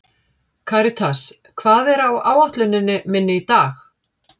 Karítas, hvað er á áætluninni minni í dag?